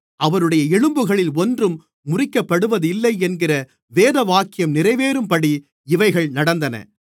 அவருடைய எலும்புகளில் ஒன்றும் முறிக்கப்படுவதில்லை என்கிற வேதவாக்கியம் நிறைவேறும்படி இவைகள் நடந்தது